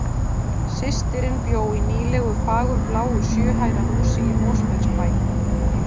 Systirin bjó í nýlegu fagurbláu sjö hæða húsi í Mosfellsbæ.